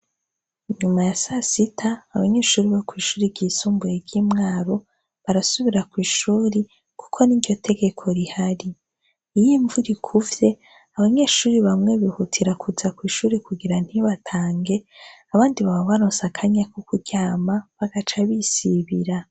Nyuma ya sasita abanyeshuri bo kw'ishuri ryisumbuye ry'imwaro barasubira kw' ishuri kuko n'iryotegeko rihari, iyo imvura ikuvye abanyeshuri bamwe bihutira kuza kw'ishure kugira ntibatange abandi baba baronse akanya ko kuryama bagaca bisibira.